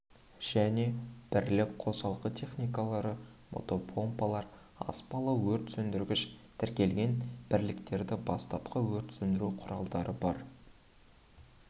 және бірлік қосалқы техникалары мотопомпалар аспалы өрт сөндіргіш тіркелген бірліктері бастапқы өрт сөндіру құралдары бар